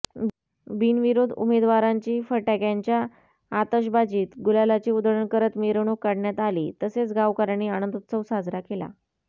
बिनविरोध उमेदवारांची फटाक्यांच्या आतषबाजीत गुलालाची उधळण करत मिरवणूक काढण्यात आली तसेच गावकऱ्यांनी आनंदोत्सव साजरा केला